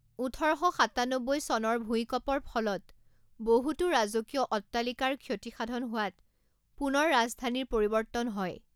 ওঠৰ শ সাতান্নব্বৈ চনৰ ভূইকঁপৰ ফলত বহুতো ৰাজকীয় অট্টালিকাৰ ক্ষতিসাধন হোৱাত পুনৰ ৰাজধানীৰ পৰিৱৰ্ত্তন হয়।